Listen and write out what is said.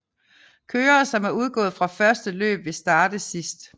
Kørere som er udgået fra første løb vil starte sidste